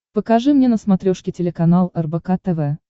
покажи мне на смотрешке телеканал рбк тв